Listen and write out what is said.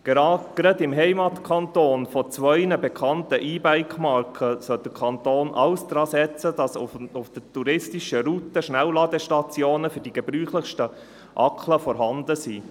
Gerade im Heimatkanton von zwei bekannten E-Bike-Marken sollte der Kanton alles dransetzen, dass auf den touristischen Routen Schnellladestationen für die gebräuchlichsten Akkubatterien vorhanden sind.